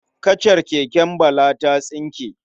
Kacar keken Bala ta tsinke.